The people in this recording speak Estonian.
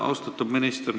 Austatud minister!